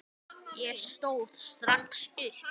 Ég stóð strax upp.